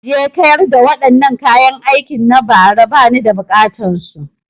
Je ka yarda wadannaan kayan aikin na bara ba ni da buƙatan su!